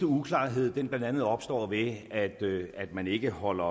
uklarheden blandt andet opstår ved at man ikke holder